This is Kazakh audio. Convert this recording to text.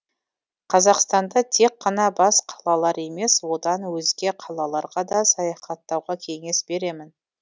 қазақстанда тек қана бас қалалар емес одан өзге қалаларға да саяхаттауға кеңес беремін